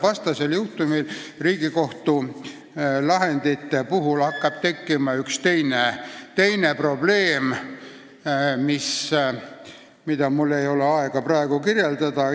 Vastasel juhul hakkab Riigikohtu lahendite puhul tekkima tõsiseid probleeme, mida mul ei ole aega praegu kirjeldada.